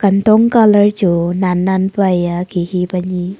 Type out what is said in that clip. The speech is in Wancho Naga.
dong colour chu nan nan pua hia khikhi ka ni--